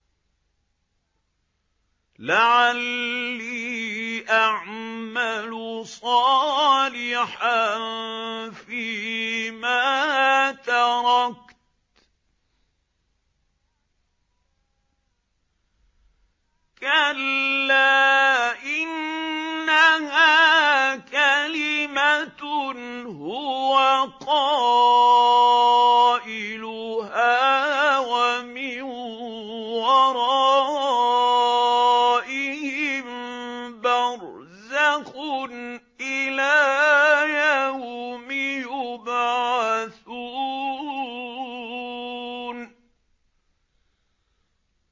لَعَلِّي أَعْمَلُ صَالِحًا فِيمَا تَرَكْتُ ۚ كَلَّا ۚ إِنَّهَا كَلِمَةٌ هُوَ قَائِلُهَا ۖ وَمِن وَرَائِهِم بَرْزَخٌ إِلَىٰ يَوْمِ يُبْعَثُونَ